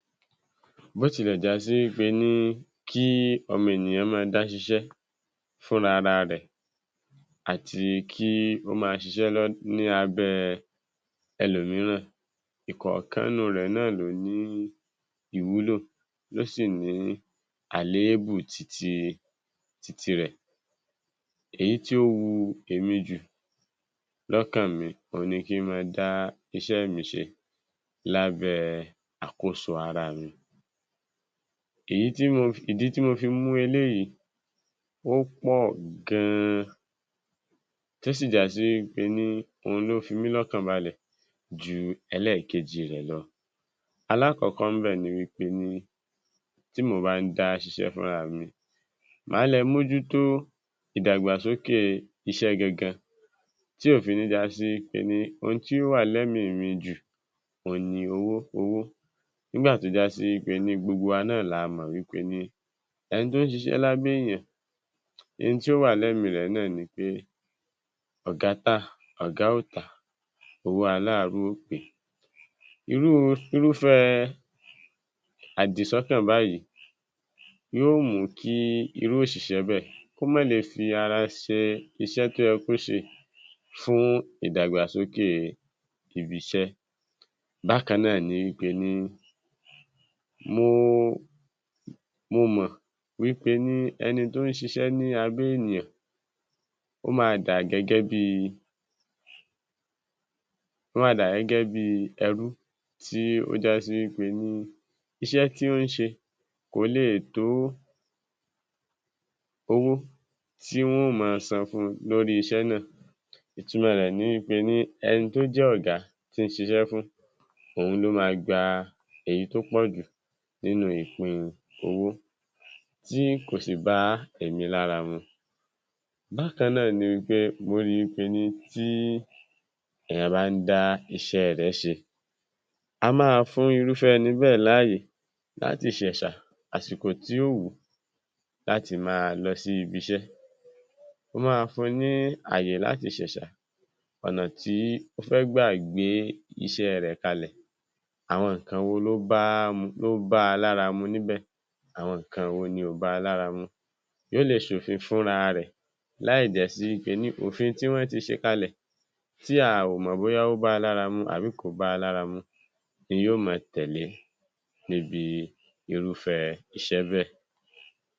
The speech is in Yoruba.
Bó tilẹ̀ já sí wí pé ní kí ọmọ ènìyàn máa dá ṣiṣẹ́ fúnra ra rẹ̀, àti kí ó máa ṣiṣẹ́ lọ́, ní abẹ́ ẹlòmíràn, ìkọ̀ọ̀kan inú rẹ̀ náà ló ní ìwúlò, ló sì ní àléébù titi, titi rẹ̀. Èyí tí ó wu èmi jù lọ́kàn mi, òhun ni kí n máa dá iṣẹ́ mi ṣe lábẹ́ àkóso ara mi. Èyí tí mo fi, ìdí nìyí tí mo fi mú eléyìí ó pọ̀ gan-an tí ó sì já sí wí pé ní òhun ló fi mí lọ́kàn balẹ̀ ju ẹkẹ́ẹ̀kejì rẹ̀ lọ. Alákọ̀ọ́kọ́ ń bẹ̀ ni wí pé ní, tí mò bá ń dá ṣiṣẹ́ fúnra mi, màá le mójútó ìdàgbàsókè iṣẹ́ gangan tí ò fi ní já sí wí pé ní ohun tí ó wà lẹ́mìí mi jù òhun ni owó owó. Nígbà tó já sí wí pé ní gbogbo wa náà la mọ̀ wí pé ní ẹni tó ń ṣiṣẹ́ lábẹ́ èèyàn, n tí ó wà lẹ́mìí rẹ̀ náà ni pé ọ̀gá tà, ọ̀gá ò tà owó aláàárù ó péé. Irúu, irúfẹ́ẹ àdìsọ́kàn báyìí yóò mú kí irú òṣìṣẹ́ bẹ́ẹ̀ kó má le fi ara ṣe iṣẹ́ tó yẹ kó ṣe fún ìdàgbàsókè ibi iṣẹ́. Bákan náà ni wí pé ní mo mo mọ̀ wí pé ní ẹni tó ń ṣiṣẹ́ ní abẹ́ ènìyàn ó ma dà gẹ́gẹ́ bíi, ó ma dà gẹ́gẹ́ bíi ẹrú tí ó já sí wí pé ní iṣẹ́ tí ó ń ṣe kò leè tó owó tí wọ́n ó máa san fún un lórí iṣẹ́ náà. Ìtumọ̀ rẹ̀ ni wí pé ní, ẹni tó jẹ́ ọ̀gá tó ń ṣiṣẹ́ fún, òun ló ma gba èyí tó pọ̀ jù nínú ìpín owó tí kò sì bá èmi lára mu. Bákan náà ni wí pé mo ríi wí pé ní tí èèyàn bá ń dá iṣẹ́ rẹ̀ ẹ́ ṣe, a máa fún Irúfẹ́ ẹni bẹ́ẹ̀ láàyè láti ṣẹ̀ṣà àsìkò tí ó wù ú láti máa lọ sí ibi iṣẹ́. Ó máa fún un ní ààyè láti ṣẹ̀ṣà ọ̀nà tí ó fẹ́ gbà gbé iṣẹ́ rẹ̀ kalẹ̀, àwọn nǹkan wo ló báá mu, ló báa lára mu níbẹ̀. Àwọn nǹkan wo ni ò báa lára mu. Yóò le ṣòfin fúnra rẹ̀ láì jásí wí pé ní òfin tí wọ́n ti ṣe kalẹ̀ tí a ò mọ̀ bóyá ó báa lára mu àbí kò báa lára mu ni yóò mọ tẹ̀lé níbi irúfẹ́ iṣẹ́ bẹ́ẹ̀.